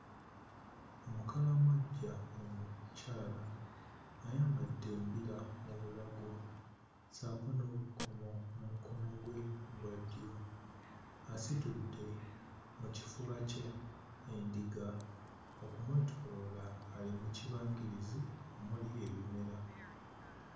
Omukalamojja omukyala ng'ayambadde embira mu bulago ssaako n'obukomo ku mukono gwe ogwa ddyo asitudde mu kifuba kye endiga okumwetooloola ali mu kibangirizi omuli ebimera.